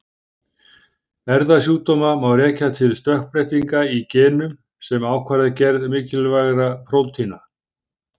Erfðasjúkdóma má rekja til stökkbreytinga í genum sem ákvarða gerð mikilvægra prótína.